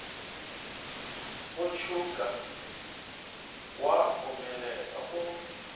go tšhouka wa omelela o